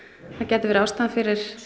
það gæti verið ástæðan fyrir